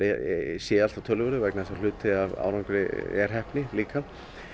sé alltaf töluverður vegna þess að hluti af árangri er heppni líka